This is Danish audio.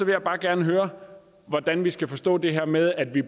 jeg bare gerne høre hvordan vi skal forstå det her med at vi